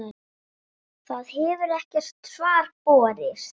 Það hefur ekkert svar borist.